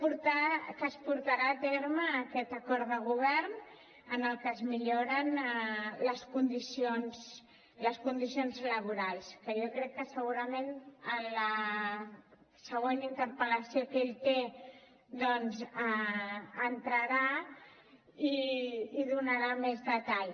que es portarà a terme aquest acord de govern en el que es milloren les condicions laborals que jo crec que segurament en la següent interpel·lació que ell té doncs hi entrarà i en donarà més detall